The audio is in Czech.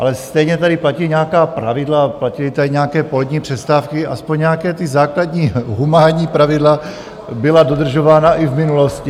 Ale stejně tady platí nějaká pravidla, platily tady nějaké polední přestávky, aspoň nějaká ta základní humánní pravidla byla dodržována i v minulosti.